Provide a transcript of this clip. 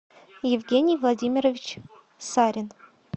евгений владимирович сарин